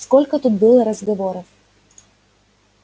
сколько тут было разговоров